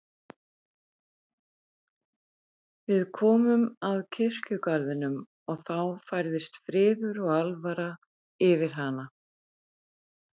Við komum að kirkjugarðinum og þá færðist friður og alvara yfir hana.